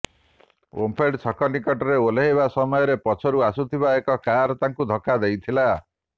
ଓମଫେଡ୍ ଛକ ନିକଟରେ ଓହ୍ଲାଇବା ସମୟରେ ପଛରୁ ଆସୁଥିବା ଏକ କାର୍ ତାଙ୍କୁ ଧକ୍କା ଦେଇଥିଲା